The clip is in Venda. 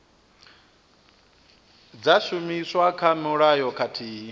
dza shumiswa kha mulayo khathihi